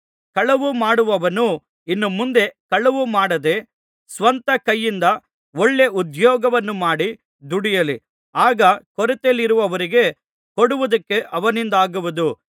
ಕಳವು ಮಾಡುವವನು ಇನ್ನು ಮುಂದೆ ಕಳವು ಮಾಡದೇ ಸ್ವಂತ ಕೈಯಿಂದ ಒಳ್ಳೇ ಉದ್ಯೋಗವನ್ನು ಮಾಡಿ ದುಡಿಯಲಿ ಆಗ ಕೊರತೆಯಲ್ಲಿರುವವರಿಗೆ ಕೊಡುವುದಕ್ಕೆ ಅವನಿಂದಾಗುವದು